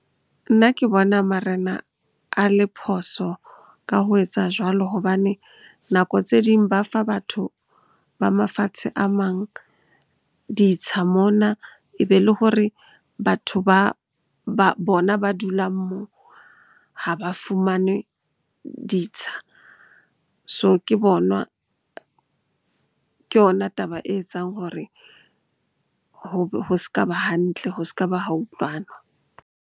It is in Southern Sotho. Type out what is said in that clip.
Nna ke bona marena a le phoso ka ho etsa jwalo hobane nako tse ding ba fa batho ba mafatshe a mang ditsha mona. Ebe le hore batho ba, bona ba dulang moo ha ba fumane ditsha. So, ke yona taba e etsang hore ho s'ka ba hantle, ho s'ka ba ha utlwanwa.